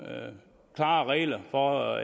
med klare regler for